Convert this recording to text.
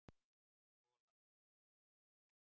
Olaf